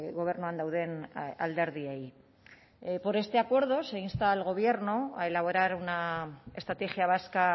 gobernuan dauden alderdiei por este acuerdo se insta al gobierno a elaborar una estrategia vasca